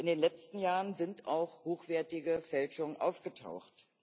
In den letzten Jahren sind auch hochwertige Fälschungen aufgetaucht.